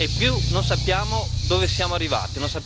E in più non sappiamo dove siamo arrivati.